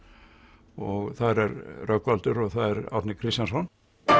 og þar er Rögnvaldur og það er Árni Kristjánsson